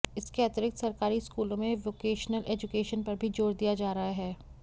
इसके अतिरिक्त सरकारी स्कूलों में वोकेशनल एजुकेशन पर भी जोर दिया जा रहा है